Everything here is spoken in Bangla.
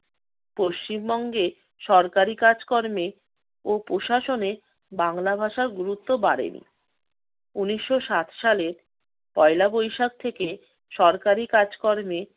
পশ্চিম বঙ্গে সরকারি কাজকর্মে ও প্রশাসনে বাংলা ভাষার গুরুত্ব বাড়েনি। ঊনিশশো ষাট সালের পয়লা বৈশাখ থেকে সরকারি কাজকর্মে